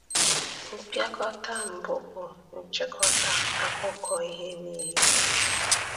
Mpịakọta mbụ bụ nchịkọta akụkọ ihe niile.